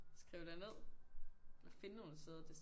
Skrive det nede eller finde nogle steder det